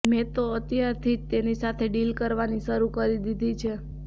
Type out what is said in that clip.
મેં તો અત્યારથી જ તેની સાથે ડીલ કરવાની શરૂ કરી દીધી છે